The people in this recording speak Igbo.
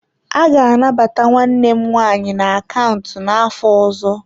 A ga-anabata nwanne m nwanyị na akaụntụ n'afọ ọzọ.